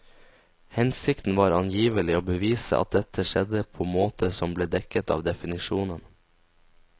Hensikten var angivelig å bevise at dette skjedde på måter som ble dekket av definisjonen.